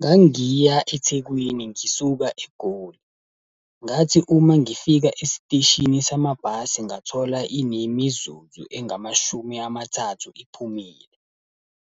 Ngangiya eThekwini ngisuka eGoli. Ngathi uma ngifika esiteshini samabhasi ngathola inemizuzu engamashumi amathathu iphumile.